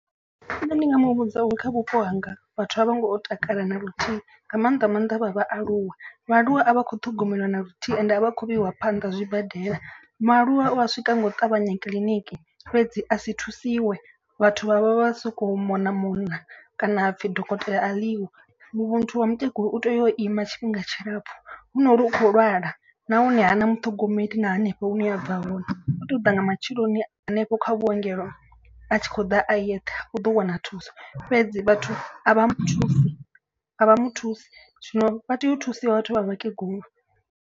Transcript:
Nṋe ndi nga muvhudza uri kha vhupo hanga vhathu a vho ngo takala na luthihi. Nga maanḓa maanḓa vha vhaaluwa, vhaaluwa a vha khou ṱhogomeliwa na luthihi ende a vha khou vheiwa phanḓa zwibadela. Mualuwa u a swika nga u ṱavhanya kiḽiniki fhedzi a si thusiwe vhathu vha vha vha vha soko mona mona. Kana hapfi dokotela a ḽi ho muthu wa mukegulu u tea u ima tshifhinga tshilapfhu. Hu nori u kho lwala nahone hana muṱhogomeli na hanefho hune a bva hone. Vho tou ḓa nga matsheloni hanefho kha vhuongelo a tshi khou ḓa a yeṱhe u ḓo wana thuso. Fhedzi vhathu a vha muthusi a vha muthusi zwino vha tea u thusiwa vhathu vha vhakegulu.